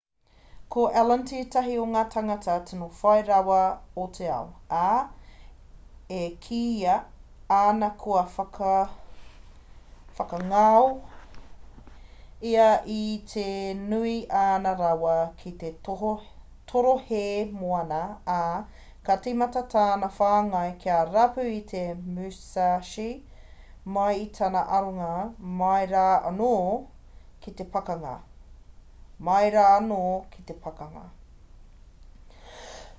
ko allen tētahi o ngā tangata tino whai rawa o te ao ā e kīia ana kua whakangao ia i te nui o āna rawa ki te torohē moana ā ka tīmata tana whāinga kia rapu i te musashi mai i tana aronga mai rā anō ki te pakanga